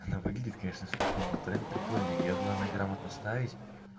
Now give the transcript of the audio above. она выглядит конечно смешно но дуэль прикольная её главное грамотно ставить